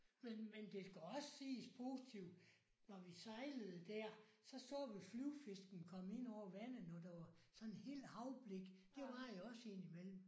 Men men det skal også siges positivt når vi sejlede der så så vi flyvefisken komme ind over vandet når der var sådan helt havblik det var der også indimellem